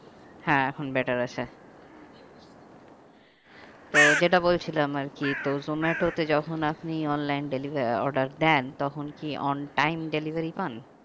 হ্যাঁ এখন better আছে তো যেটা বলেছিলাম আর কি তো জোমাটোতে যখন আপনি online deliver order দেন তখন কি on time delivery পান?